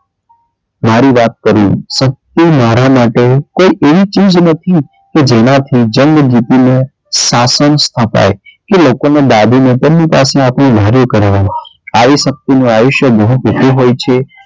મારી વાત કરી શક્તિ મારા માટે કોઈ એવી ચીઝ નથી કે જેનાથી જંગ જીતીને શાસન સ્થપાય કે લોકો ને દાબીને તેમને પાસે આપડું ધાર્યું કરાવાય આવી શક્તિ નું આયુષ્ય બહુ ટુકું હોય છે.